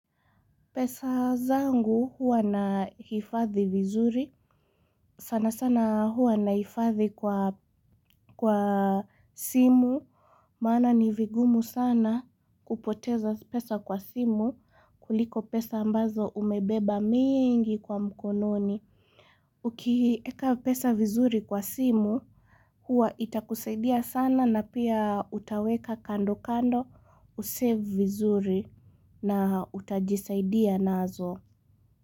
Pesa zangu huwa nahifadhi vizuri, sana sana huwa nahifadhi kwa simu, maana ni vigumu sana kupoteza pesa kwa simu kuliko pesa ambazo umebeba mingi kwa mkononi. Ukieka pesa vizuri kwa simu huwa itakusaidia sana na pia utaweka kando kando usave vizuri na utajisaidia nazo.